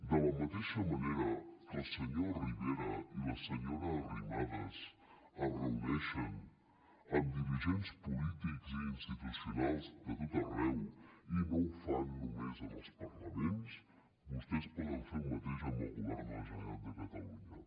de la mateixa manera que el senyor rivera i la senyora arrimadas es reuneixen amb dirigents polítics i institucionals de tot arreu i no ho fan només en els parlaments vostès poden fer el mateix amb el govern de la generalitat de catalunya